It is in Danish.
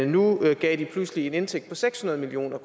nu gav de pludselig en indtægt på seks hundrede million